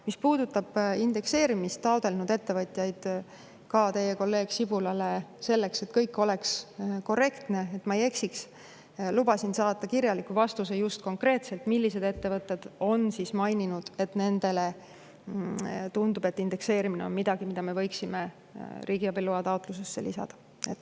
Mis puudutab indekseerimist taotlenud ettevõtjaid, siis ma teie kolleeg Sibulale: selleks et kõik oleks korrektne, et ma ei eksiks, luban saata kirjaliku vastuse, konkreetselt millised ettevõtted on maininud, et nendele tundub, et indekseerimine on miski, mille me võiksime riigiabiloa taotlusse lisada.